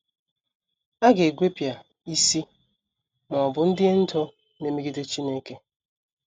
A ga - egwepịa “ isi, ” ma ọ bụ ndị ndú na - emegide Chineke.